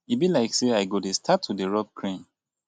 e be like say i go dey start to dey rub cream.